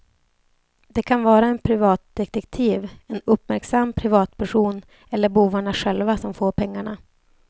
Det kan vara en privatdetektiv, en uppmärksam privatperson eller bovarna själva som får pengarna.